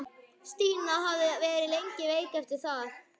Stína hafði verið lengi veik eftir það.